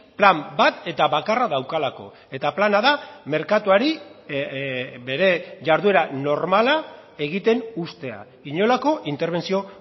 plan bat eta bakarra daukalako eta plana da merkatuari bere jarduera normala egiten uztea inolako interbentzio